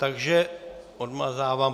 Takže odmazávám.